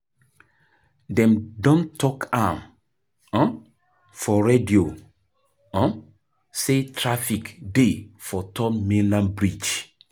Dem don tok am um for radio um sey traffic dey for third mainland bridge.